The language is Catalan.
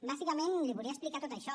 bàsicament li volia explicar tot això